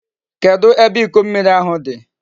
Kedu ebe Iko mmiri ahu di?